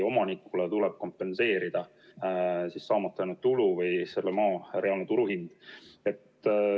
Omanikule tuleb kompenseerida saamata jäänud tulu või selle maa reaalne turuhind.